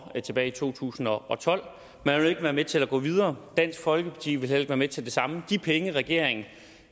tilbage i to tusind og tolv man ville ikke være med til at gå videre dansk folkeparti ville heller ikke være med til det de penge regeringen